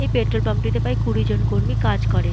এই petrol pump -টিতে প্রায় কুড়িজন কর্মী কাজ করেন।